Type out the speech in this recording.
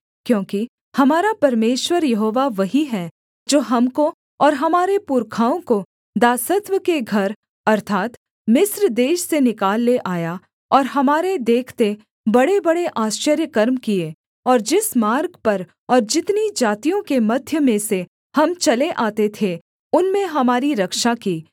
क्योंकि हमारा परमेश्वर यहोवा वही है जो हमको और हमारे पुरखाओं को दासत्व के घर अर्थात् मिस्र देश से निकाल ले आया और हमारे देखते बड़ेबड़े आश्चर्यकर्म किए और जिस मार्ग पर और जितनी जातियों के मध्य में से हम चले आते थे उनमें हमारी रक्षा की